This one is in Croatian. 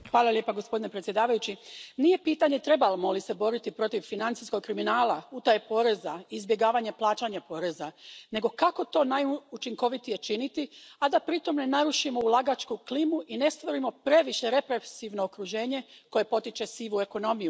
Poštovani predsjedavajući, nije pitanje trebamo li se boriti protiv financijskog kriminala, utaje poreza i izbjegavanja plaćanja poreza, nego kako to najučinkovitije činiti, a da pritom ne narušimo ulagačku klimu i ne stvorimo previše represivno okruženje koje potiče sivu ekonomiju.